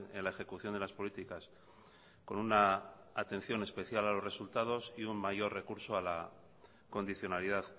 en la ejecución de las políticas con una atención especial a los resultados y un mayor recurso a la condicionalidad